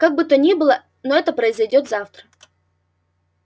как бы то ни было но это произойдёт завтра